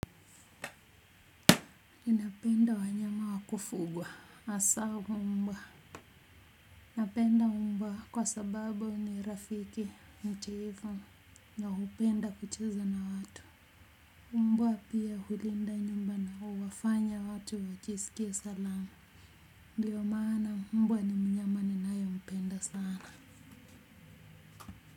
Ninapenda wanyama wa kufugwa hasa mbwa, napenda mbwa kwa sababu ni rafiki mtiifu na hupenda kucheza na watu mbwa pia hulinda nyumba na huwafanya watu wajisikie salama ndiyo maana mbwa ni mnyama ninayempenda sana